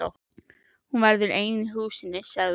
Hún verður ein í húsinu, sagði hún.